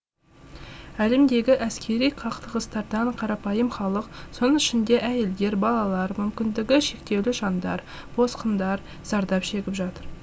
әлемдегі әскери қақтығыстардан қарапайым халық соның ішінде әйелдер балалар мүмкіндігі шектеулі жандар босқындар зардап шегіп жатыр